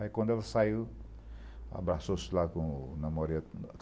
Aí, quando ela saiu, abraçou-se lá com o namorado.